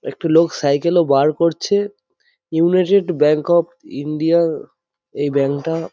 একটু লোক সাইকেল ও বার করছে ইউনাইটেড ব্যাঙ্ক অফ ইন্ডিয়া এই ব্যাঙ্ক টা --